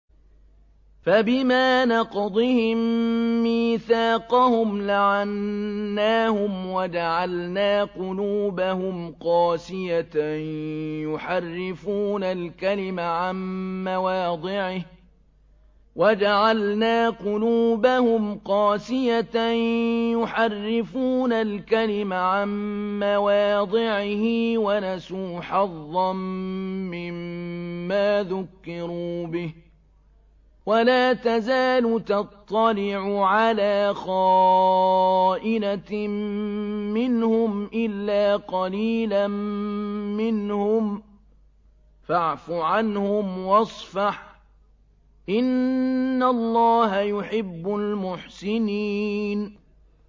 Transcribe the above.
فَبِمَا نَقْضِهِم مِّيثَاقَهُمْ لَعَنَّاهُمْ وَجَعَلْنَا قُلُوبَهُمْ قَاسِيَةً ۖ يُحَرِّفُونَ الْكَلِمَ عَن مَّوَاضِعِهِ ۙ وَنَسُوا حَظًّا مِّمَّا ذُكِّرُوا بِهِ ۚ وَلَا تَزَالُ تَطَّلِعُ عَلَىٰ خَائِنَةٍ مِّنْهُمْ إِلَّا قَلِيلًا مِّنْهُمْ ۖ فَاعْفُ عَنْهُمْ وَاصْفَحْ ۚ إِنَّ اللَّهَ يُحِبُّ الْمُحْسِنِينَ